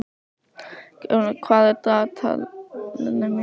Geirfinna, hvað er á dagatalinu mínu í dag?